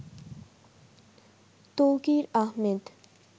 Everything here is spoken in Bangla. তৌকির আহমেদ